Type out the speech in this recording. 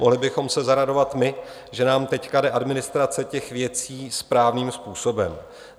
Mohli bychom se zaradovat my, že nám teď jde administrace těch věcí správným způsobem.